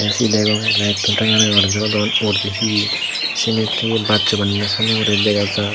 ci degong layetto ranga ranga guri jolodon uguredi he he siyenit ye bacchoi bannonde siyanne dega jaar.